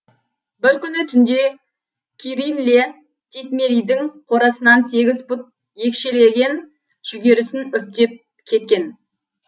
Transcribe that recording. бір күні түнде кирилле титмеридің қорасынан сегіз пұт екшелеген жүгерісін үптеп кеткен